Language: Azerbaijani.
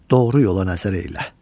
Doğru yola nəzər eylə.